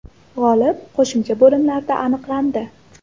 G‘olib qo‘shimcha bo‘limlarda aniqlandi.